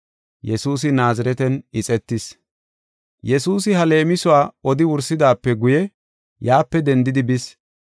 Yesuusi ha leemisuwa odi wursidaape guye yaape dendidi bis.